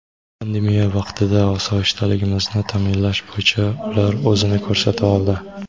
Pandemiya vaqtida osoyishtaligimizni ta’minlash bo‘yicha ular o‘zini ko‘rsata oldi.